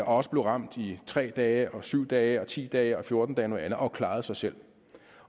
også blev ramt i tre dage og syv dage og ti dage og fjorten dage og noget andet og klarede sig selv